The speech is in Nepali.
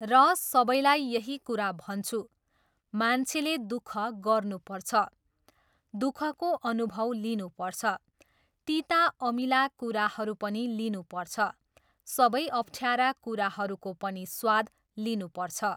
र सबैलाई यही कुरा भन्छु, मान्छेले दुख गर्नुपर्छ, दुखको अनुभव लिनुपर्छ, तिता अमिला कुराहरू पनि लिनुपर्छ, सबै अप्ठ्यारा कुराहरूको पनि स्वाद लिनुपर्छ।